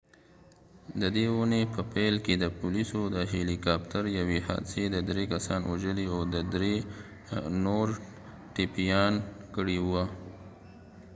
ددی اوونی په پیل کی د پولیسود هیلی کاپتر یوی حادثی د دری کسان وژلی او دری نور ټپیان کړی وه